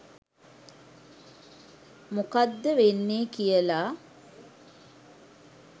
මොකද්ද වෙන්නේ කියලා